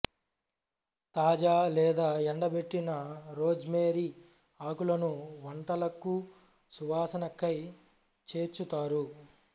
తాజా లేదా ఎండబెట్టిన రోజ్మేరి ఆకులను వంటలకు సువాసన కై చేర్చుతారు